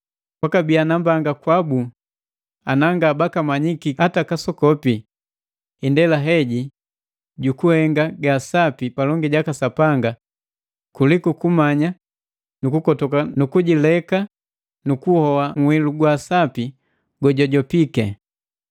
Kwa kabiya nambanga kwabu ana nga baka manyiki hata kasokopi indela heji jukuhenga gaa sapi palongi jaka Sapanga kuliku kummanya nu kukotoka nu kujileka nu kuhoa nhilu wa sapi go jwajopiki.